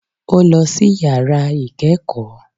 Ó lọ sí yàrá ìkẹ́kọ̀ọ́.